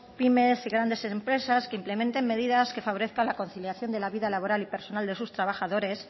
pymes y grandes empresas que implementen medidas que favorezcan la conciliación de la vida laboral y personal de sus trabajadores